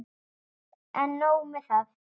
En nóg með það.